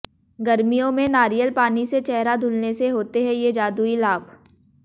गर्मियों में नारियल पानी से चेहरा धुलने से होते हैं ये जादुई लाभ